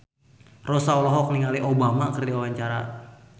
Rossa olohok ningali Obama keur diwawancara